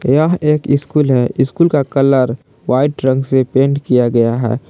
यह एक स्कूल है स्कूल का कलर व्हाइट रंग से पेंट किया गया है।